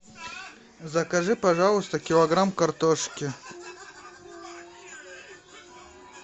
закажи пожалуйста килограмм картошки